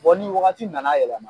Fɔ ni wagati nana yɛlɛma.